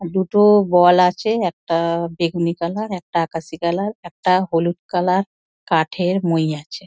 দুটো বল আছে একটা-আ বেগুনি কালার একটা আকাশি কালার একটা হলুদ কালার কাঠের মই আছে।